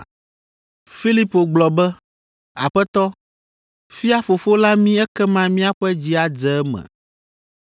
Filipo gblɔ be, “Aƒetɔ, fia Fofo la mí ekema míaƒe dzi adze eme.”